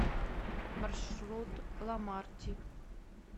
маршрут ламарти